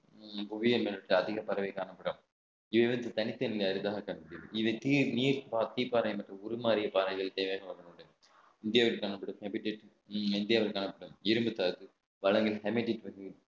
புவியில் அதிக பரவி காணப்படும் event தனித்தனியா இருக்காங்க தம்பி இதுக்கு நீட் பாறை எனக்கு உருமாறிய பாறைகள் தேவையான இந்தியாவிற்கான இந்தியாவில் காணப்படும் இரும்புத்தாது